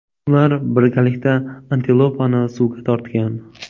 Ular birgalikda antilopani suvga tortgan.